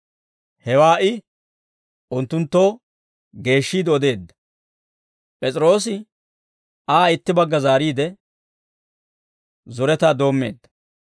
Hewaa I unttunttoo geeshshiide odeedda; P'es'iroosi Aa itti bagga zaariide, zoretaa doommeedda.